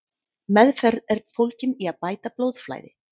Meðferð er fólgin í að bæta blóðflæði.